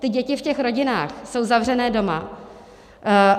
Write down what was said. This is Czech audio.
Ty děti v těch rodinách jsou zavřené doma.